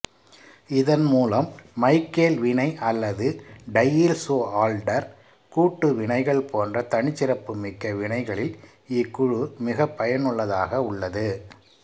இதன்மூலம் மைக்கேல் வினை அல்லது டையீல்சுஆல்டர் கூட்டுவினைகள் போன்ற தனிச்சிறப்பு மிக்க வினைகளில் இக்குழு மிகப்பயனுள்ளதாக உள்ளது